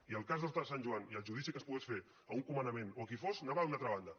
i el cas d’horta de sant joan i el judici que es pogués fer a un comandament o a qui fos anaven a una altra banda